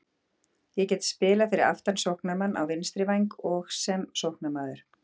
Ég get spilað fyrir aftan sóknarmann, á vinstri væng og sem sóknarmaður.